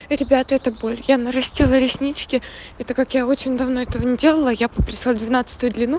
ребята это боль я нарастила реснички это как я очень давно этого не делала я попросила двенадцатую длину